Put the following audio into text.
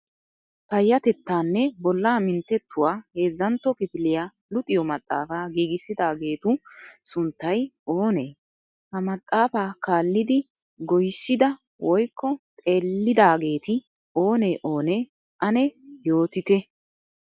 Payattettaanne bollaa mintettuwa heezzantto kifiliya luxiyo maxaafaa gigissidaageetu sunttay oonee? Ha maxaafa kaallidi goysida woykko xeellidaageeti onee onee ane yoottite.